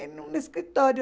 Em um escritório.